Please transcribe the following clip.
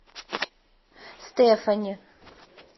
стэфани